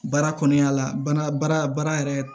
Baara kɔnɔna la baara baara yɛrɛ